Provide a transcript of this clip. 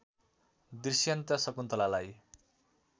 Dushyant शकुन्तलालाई